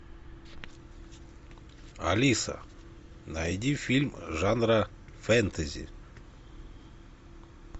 алиса найди фильм жанра фэнтези